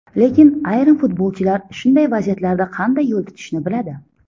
Lekin ayrim futbolchilar shunday vaziyatlarda qanday yo‘l tutishni biladi.